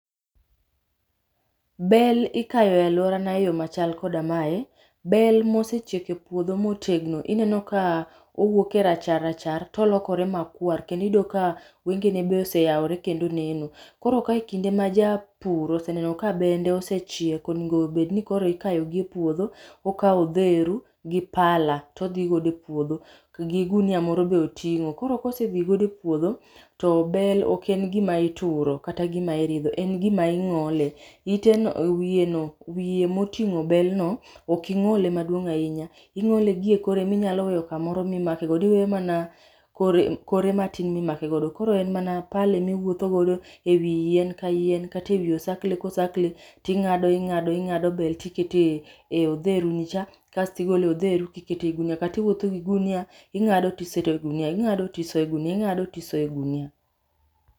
Bel ikayo e aluorana eyo machalom koda mae, bel ma osechiek e puodho ma otegno ineno ka owuok e rachar rachar to olokore makwar kendo iyudo ka wenge ne be oseyawore kendo neno. Koro ka ekinde maja pur oseneno ka bende osechiek onego bed ni koro ikayogi epuodho, okawo odheru gi pala to dhi godo e puodho gi gunia m,oro bende oting'o. Koro ka osedhi godo e puodho, to bel ok en gima itur kata iridho en gima ing'olo, iteno wiyeno wiye moting'o bel no ok ing'ole maduong' ahinya, ing'ole gie kore minyalo weyo kamoro ma imakego. Iweyo mana kore matin ma imake godo koro en mana pala ema iwuotho godo ewi yien ka yien kata ei osakle kosakle to ing'ado, ing'ado ing'ado bel to iketo ei odheru nicha kasto igolo odheru to iketo ei ognia. Kata inyalo wuotho gi ogunia, ing'ado to isoyo e ogunia , ing'ado to isoyo e ogunia, ing'ado to isoyo e gunia.